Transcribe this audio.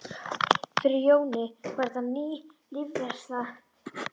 Fyrir Jóni var þetta ný lífsreynsla.